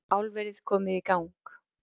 Álverið komið í gang